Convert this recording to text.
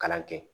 Kalan kɛ